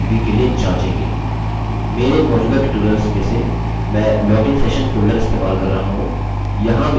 मेरे मौजूदा ट्यूटोरियल्स में से मैं login session फोल्डर इस्तेमाल कर रहा हूँ